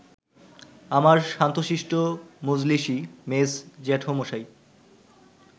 আমার শান্তশিষ্ট মজলিশী মেজ জ্যাঠামশাই